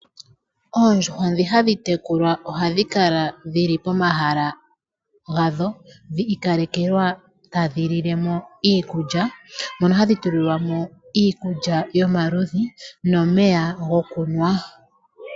Oondjuhwa ndhi hadhi tekulwa ohadhi kala dhili pomahala gadho dhi ikalekelwa tadhi lile mo iikulya mono hadhi tulilwa mo iikulya yomaludhi nomeya gokunwa.